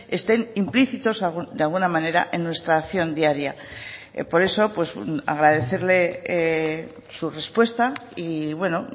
estén implícitos de alguna manera en nuestra acción diaria por eso agradecerle su respuesta y bueno